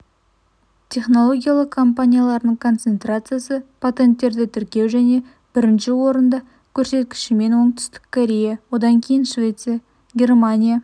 технологиялы компаниялардың концентрациясы патенттерді тіркеу және бірінші орында көрсеткішімен оңтүстік корея одан кейін швеция германия